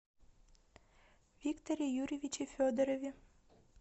викторе юрьевиче федорове